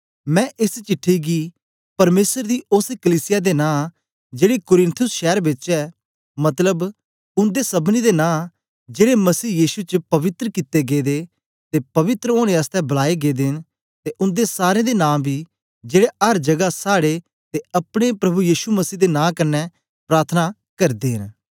मैं एस चिट्ठी गी परमेसर दी ओस कलीसिया दे नां जेड़ी कुरिन्थुस शैर बेच ऐ मतलब उन्दे सबनी दे नां जेड़े मसीह यीशु च पवित्र कित्ते गेदे ते पवित्र ओनें आसतै बलाए गै न ते उन्दे सारें दे नां बी जेड़े अर जगा साड़े ते अपने प्रभु यीशु मसीह दे नां कन्ने प्रार्थना करदे न